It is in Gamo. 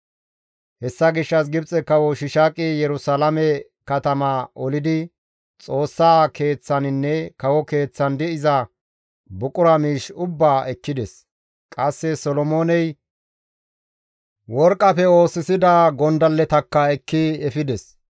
Hessa gishshas Gibxe Kawo Shiishaaqi Yerusalaame katamaa olidi Xoossaa keeththaninne kawo keeththan de7iza buqura miish ubbaa ekkides. Qasse Solomooney worqqafe oosisida gondalletakka ekki efides.